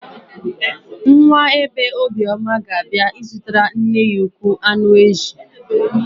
Nwa bee Obioma ga-abịa ịzụtara nne ya ukwuu shawama.